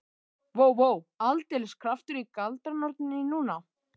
Vó, vó, aldeilis kraftur í galdranorninni núna.